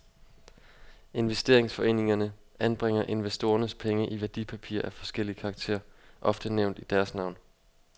Investeringsforeningerne anbringer investorernes penge i værdipapirer af forskellig karakter, ofte nævnt i deres navn.